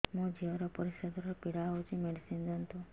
ମୋ ଝିଅ ର ପରିସ୍ରା ଦ୍ଵାର ପୀଡା ହଉଚି ମେଡିସିନ ଦିଅନ୍ତୁ